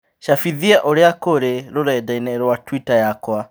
cabithia ũria kũri rũrenda - ĩni rũa tũita yakwa